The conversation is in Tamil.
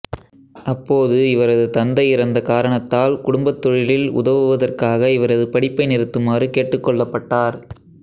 அப்போது இவரது தந்தை இறந்த காரணத்தால் குடும்பத் தொழிலில் உதவுவதற்காக இவரது படிப்பை நிறுத்துமாறு கேட்டுக் கொள்ளப்பட்டார்